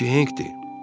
Bu ki Henkdir.